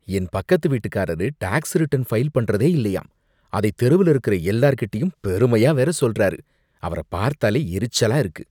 என் பக்கத்து வீட்டுக்காரரு tax return file பண்றதே இல்லயாம், அதை தெருவுல இருக்குற எல்லார்கிட்டயும் பெருமையா வேற சொல்லுறாரு. அவர பார்த்தாலே எரிச்சலா இருக்கு.